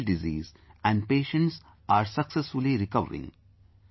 It's a mild disease and patients are successfully recovering